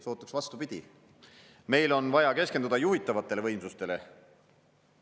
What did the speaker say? Sootuks vastupidi: meil on vaja keskenduda juhitavatele võimsustele.